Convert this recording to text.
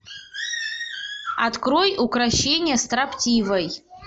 открой укрощение строптивой